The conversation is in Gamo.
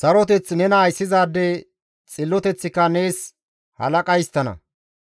saroteth nena ayssizaade, xilloteththika nees halaqa histtana.